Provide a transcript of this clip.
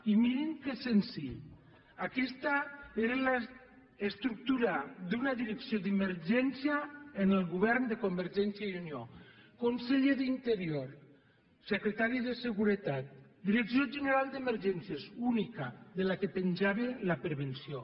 i mirin que senzill aquesta era l’estructura d’una direcció d’emergència en el govern de convergència i unió conseller d’interior secretari de seguretat direcció general d’emergències única de la qual penjava la prevenció